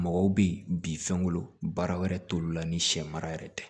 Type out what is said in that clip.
Mɔgɔw bɛ yen bi fɛnko baara wɛrɛ t'olu la ni sɛ mara yɛrɛ tɛ